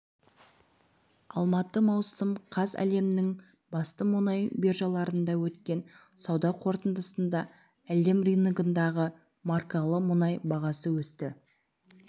алматы маусым қаз әлемнің басты мұнай биржаларында өткен сауда қортындысында әлем рыногындағы маркалы мұнай бағасы өсті